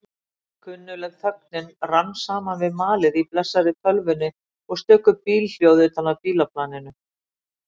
Kunnugleg þögnin rann saman við malið í blessaðri tölvunni og stöku bílhljóð utan af bílaplaninu.